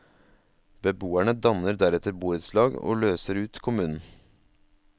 Beboerne danner deretter borettslag og løser ut kommunen.